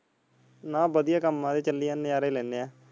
ਨਾ ਬੜੀਆਂ ਕਮ ਆਂ ਚੱਲੀ ਜਾਂਦੇ ਨਜ਼ਾਰੇ ਲੈਣੇ ਹਾਂ